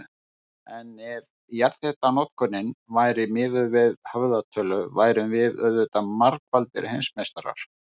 En ef jarðhitanotkunin væri miðuð við höfðatölu værum við auðvitað margfaldir heimsmeistarar.